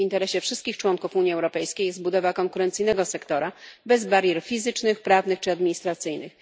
W interesie wszystkich członków Unii Europejskiej jest budowa konkurencyjnego sektora, bez barier fizycznych, prawnych czy administracyjnych.